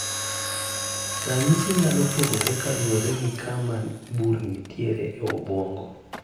Ranyisi nyalo pogore kaluore gi kama bur nitiere e obwongo